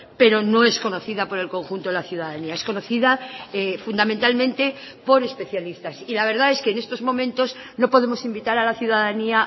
pero no es conocida por el conjunto de la ciudadanía es conocida fundamentalmente por especialistas y la verdad es que en estos momentos no podemos invitar a la ciudadanía